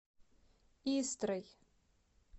истрой